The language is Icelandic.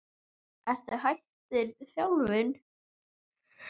Ertu hættur þjálfun?